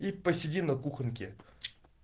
и посидим на кухоньке